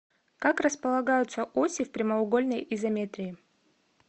как располагаются оси в прямоугольной изометрии